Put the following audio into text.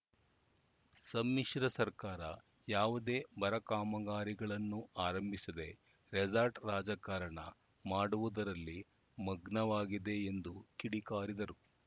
ಸಮ್ಮಿಶ್ರ ಸರ್ಕಾರ ಯಾವುದೇ ಬರ ಕಾಮಗಾರಿಗಳನ್ನು ಆರಂಭಿಸದೆ ರೆಸಾರ್ಟ್‌ ರಾಜಕಾರಣ ಮಾಡುವುದರಲ್ಲಿ ಮಗ್ನವಾಗಿದೆ ಎಂದು ಕಿಡಿಕಾರಿದರು